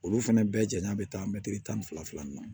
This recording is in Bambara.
Olu fɛnɛ bɛɛ janya bɛ taa mɛtiri tan ni fila fila in na